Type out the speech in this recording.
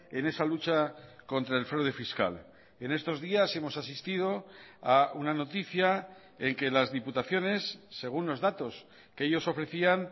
en esa lucha contra el fraude fiscal en estos días hemos asistido a una noticia en que las diputaciones según los datos que ellos ofrecían